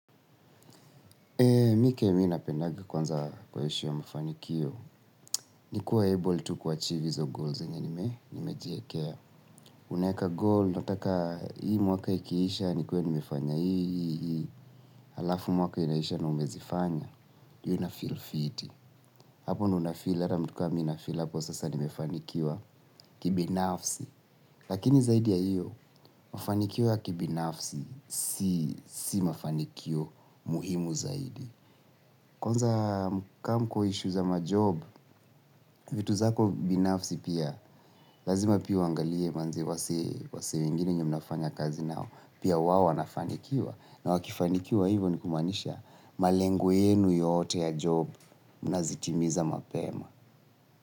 Mi kenye mi napendanga kwanza kuishi kwa mafanikio. Nikuwa able to kuachive hizo goals yenye nimejiwekea. Unaeka goal, nataka hii mwaka ikiisha, nikuwe nimefanya hii. Halafu mwaka inaisha na umezifanya. Hiyo inafeel fiti. Hapo ndo unafil hata mtu kama mimi nafil hapo sasa nimefanikiwa kibinafsi. Lakini zaidi ya hiyo, mafanikio ya kibinafsi si mafanikio muhimu zaidi. Kwanza kam kwa issues za majob, vitu zako binafsi pia, lazima pia uangalie manze wase wengine wenye mnafanya kazi nao, pia wao wanafanikiwa. Na wakifanikiwa hivo ni kumaanisha malengo yenu yote ya job, mnazitimiza mapema.